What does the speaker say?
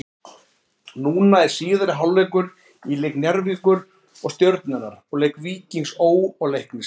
Núna er síðari hálfleikur í leik Njarðvíkur og Stjörnunnar og leik Víkings Ó. og Leiknis.